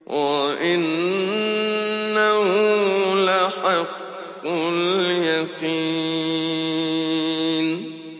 وَإِنَّهُ لَحَقُّ الْيَقِينِ